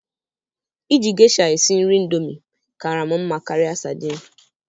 Iji geisha esi nri indomie kaara m mma karịa sardine.